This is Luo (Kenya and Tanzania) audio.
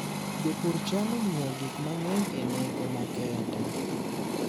Jopur chano ng'iewo gik mang'eny e nengo makende.